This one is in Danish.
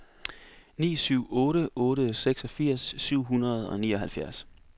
ni syv otte otte seksogfirs syv hundrede og nioghalvfjerds